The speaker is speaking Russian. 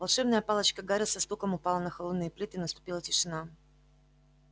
волшебная палочка гарри со стуком упала на холодные плиты и наступила тишина